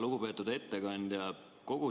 Lugupeetud ettekandja!